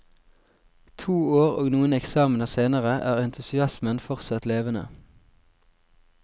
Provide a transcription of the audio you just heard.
To år og noen eksamener senere er entusiasmen fortsatt levende.